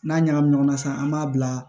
N'a ɲagamin ɲɔgɔn na sisan an b'a bila